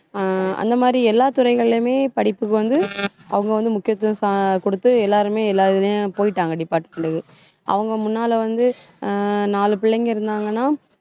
அஹ் அந்த மாதிரி எல்லா துறைகளிலுமே படிப்புக்கு வந்து அவங்க வந்து முக்கியத்துவம் ச~ கொடுத்து, எல்லாருமே, எல்லா இதுலயும் போயிட்டாங்க department க்கு அவங்க முன்னால வந்து அஹ் நாலு பிள்ளைங்க இருந்தாங்கன்னா,